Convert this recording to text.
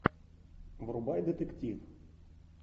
врубай детектив